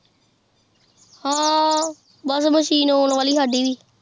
ਹਮ ਬਸ ਮਸ਼ੀਨ ਆਉਣ ਵਾਲੀ ਸਾਡੀ ਵੀ